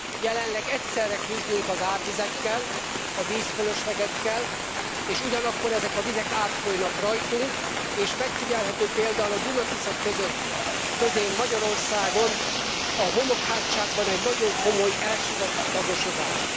Jelenleg egyszerre küzdünk az árvizekkel, a vízfölöslegekkel és ugyanakkor ezek a vizek átfolynak rajtunk, és megfigyelhető például a Duna Tisza közén Magyarországon, a homokhátságban egy nagyon komoly elsivatagosodás.